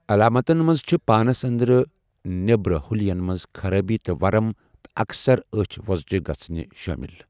علاماتَن منٛز چھِ پانس اندرٕ نیبرٕ حلین منز خرٲبی تہٕ ورم ، تہٕ اَکثَر أچھ وو٘زجہِ گژھٕنہِ شٲمِل۔